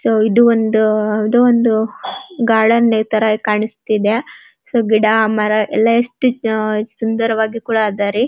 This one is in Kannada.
ಸೊ ಇದು ಒಂದು ಇದು ಒಂದು ಗಾರ್ಡನ್ ತರ ಕಾಣಿಸ್ತಿದೆ ಸೊ ಗಿಡ ಮರ ಎಲ್ಲ ಎಸ್ಟ್ ಸುಂದರವಾಗಿ ಕೂಡ ಅದ ರೀ.